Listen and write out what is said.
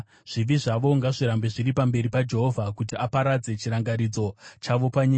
Zvivi zvavo ngazvirambe zviri pamberi paJehovha, kuti aparadze chirangaridzo chavo panyika.